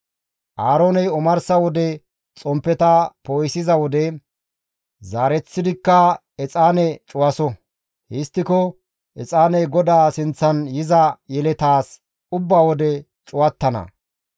Aarooney omarsa wode xomppeta poo7isiza wode, zaareththidikka exaane cuwaso; histtiko exaaney GODAA sinththan yiza yeletaas ubba wode cuwattana.